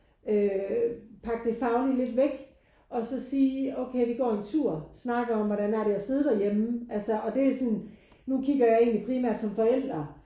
Øh pakke det faglige lidt væk og så sige okay vi går en tur snakker om hvordan er det at sidde derhjemme altså og det er sådan nu kigger jeg egentlig primær som forældre